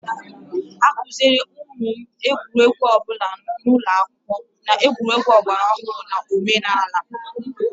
A kụziere ụmụ m ụdị egwuregwu ọbụla n'ụlọ akwụkwọ, na egwuregwu ọgbaraọhrụ na omenala